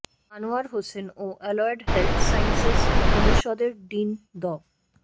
আনোয়ার হোসেন ও allied health sciences অনুষদের dean ড